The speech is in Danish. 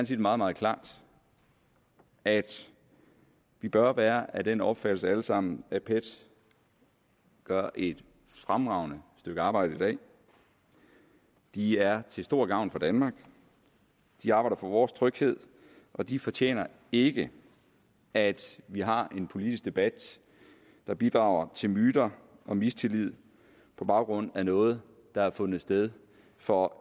sige meget meget klart at vi bør være af den opfattelse alle sammen at pet gør et fremragende stykke arbejde i dag de er til stor gavn for danmark de arbejder for vores tryghed og de fortjener ikke at vi har en politisk debat der bidrager til myter og mistillid på baggrund af noget der har fundet sted for